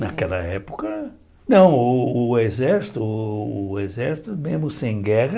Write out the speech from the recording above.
Naquela época... Não, o o o exército o exército, mesmo sem guerra...